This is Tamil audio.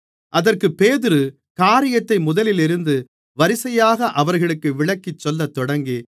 அதற்குப் பேதுரு காரியத்தை முதலிலிருந்து வரிசையாக அவர்களுக்கு விளக்கிச் சொல்லத்தொடங்கி